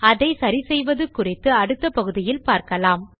அதை சரி செய்வது குறித்து அடுத்த பகுதியில் பார்க்கலாம்